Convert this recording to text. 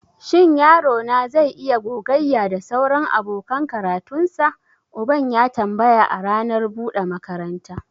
Shin yaro na zai iya gogayya da sauran abokan karatunsa? Uban ya tambaya a ranar buɗe makaranta.